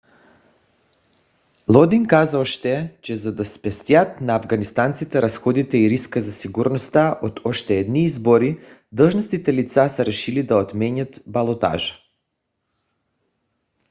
лодин каза още че за да спестят на афганистанците разходите и риска за сигурността от още едни избори длъжностните лица са решили да отменят балотажа